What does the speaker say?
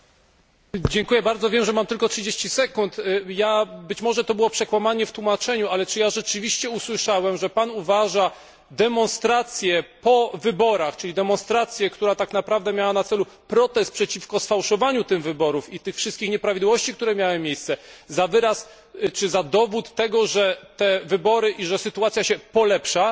Panie Przewodniczący! Wiem, że mam tylko 30 sekund. Być może to było przekłamanie w tłumaczeniu, ale czy ja rzeczywiście usłyszałem, że Pan uważa demonstrację po wyborach, czyli demonstrację, która tak naprawdę miała na celu protest przeciwko sfałszowaniu tych wyborów i tych wszystkich nieprawidłowości, które miały miejsce, za dowód tego, że te wybory i że sytuacja się polepsza?